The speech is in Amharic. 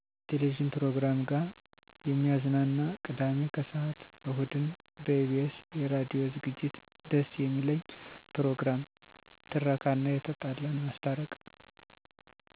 የቴሌቪዥን ፕሮግራም ጋ የሚያዝናና፦ ቅዳሜ ከሰዓት፣ እሁድን በኢቢኤስ የራዲዮ ዝግጅት ደስ የሚለኝ ፕሮግራም፦ ትረካ እና የተጣላን ማስታረቅ